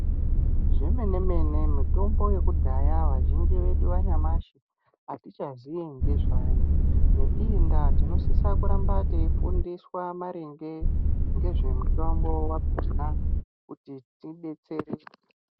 Zvemene-mene mitombo yekudhaya vazhinji yedu vanyamashi hatichazii ngezvayo. Neiyi ndaa tinofana kuramba teifundiswa maringe ngezvemutombo vakona kuti tibetsereke.